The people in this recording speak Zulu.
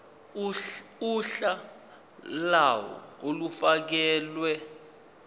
uhla lawo olufakelwe